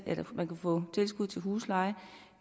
at man kunne få tilskud til husleje